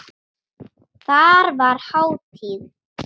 Þar var hátíð.